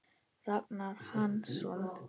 Ragnar Hansson